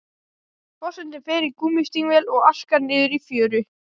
Forsetinn fer í gúmmístígvél og arkar niður í fjöru.